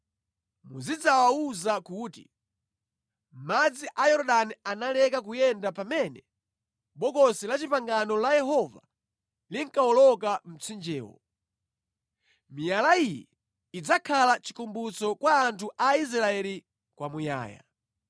Muzidzawawuza kuti, ‘Madzi a Yorodani analeka kuyenda pamene Bokosi la Chipangano la Yehova linkawoloka mtsinjewo. Miyala iyi idzakhala chikumbutso kwa anthu a Israeli kwa muyaya.’ ”